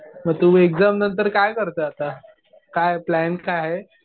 मग तु एक्झाम नंतर काय करतोय आता? काय प्लॅन काय आहे?